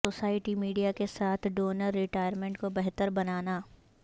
society media کے ساتھ donor retirement کو بہتر بنانا